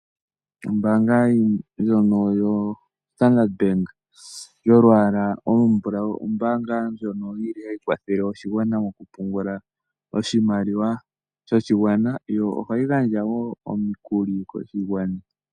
Ombaanga ndjono yo Standard bank yolwaala olu mbulawu ombaanga ndjono yili ha yi kwathele oshigwana moku pungula oshimaliwa shoshi gwana, yo oha yi gandja woo omikuli koshi gwana.